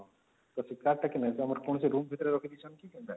car ଟା କଣ ତମର କୌଣସି ରୁମ ଭିତରେ ରଖିଦେଇଛନ୍ତି କି କେନ୍ତା